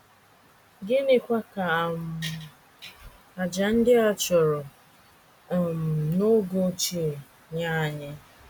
Gịnịkwa ka um àjà ndị a chụrụ um n’oge ochie nye anyị?